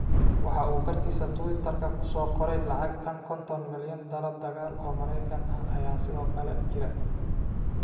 Waxa uu bartiisa Twitter-ka ku soo qoray lacag dhan konton milyan dalab dagaal oo Maraykan ah ayaa sidoo kale jira.